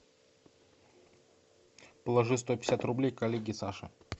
положи сто пятьдесят рублей коллеге саше